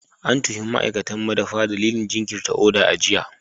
An tuhumi ma'aikatan madafa dalilin jinkirta oda a jiya.